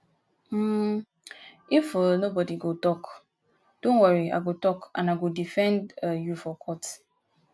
um if um nobody go talk dont worry i go talk and i go defend um you for court